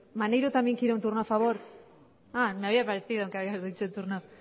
maneiro también quiere un turno a favor ah me había parecido que habías dicho turno